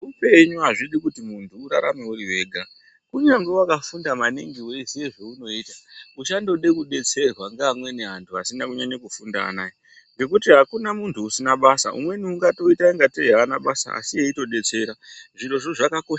Zveupenyu hazvidi kuti muntu urarame uri wega. Kunyangwe wakafunda maningi weiziye zveunoita, uchandode kudetserwa ngeamweni antu asina kunyanye kufunda anaya, ngekuti hakuna muntu usina basa. Umweni ungatoita ingatei haana basa, asi eyitodetsera. Zvirozvo zvakakosha.